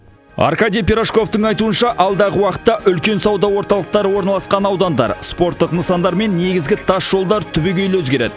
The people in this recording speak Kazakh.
аркадий пирожковтың айтуынша алдағы уақытта үлкен сауда орталықтары орналасқан аудандар спорттық нысандар мен негізгі тасжолдар түбегейлі өзгереді